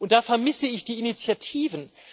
Da vermisse ich die Initiativen.